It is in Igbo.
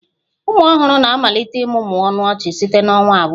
Ụmụ ọhụrụ na-amalite ịmụmụ ọnụ ọchị site na ọnwa abụọ